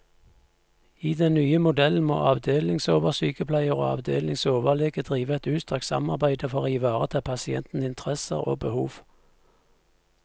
I den nye modellen må avdelingsoversykepleier og avdelingsoverlege drive et utstrakt samarbeide for å ivareta pasienters interesser og behov.